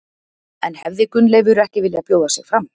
En hefði Gunnleifur ekki viljað bjóða sig fram?